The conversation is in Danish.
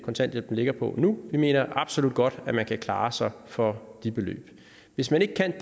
kontanthjælpen ligger på nu vi mener absolut godt at man kan klare sig for de beløb hvis man ikke kan